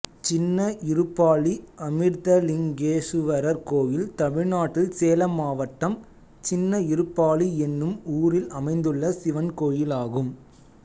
சின்ன இருப்பாளி அமிர்தலிங்கேசுவரர் கோயில் தமிழ்நாட்டில் சேலம் மாவட்டம் சின்ன இருப்பாளி என்னும் ஊரில் அமைந்துள்ள சிவன் கோயிலாகும்